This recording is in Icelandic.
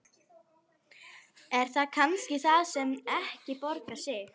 Er það kannski það sem ekki borgar sig?